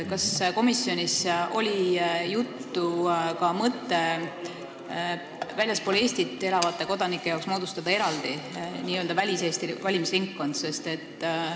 Kas komisjonis oli juttu mõttest moodustada väljaspool Eestit elavate kodanike jaoks eraldi n-ö väliseesti valimisringkond?